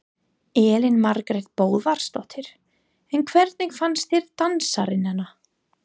Elín Margrét Böðvarsdóttir: En hvernig fannst þér dansararnir?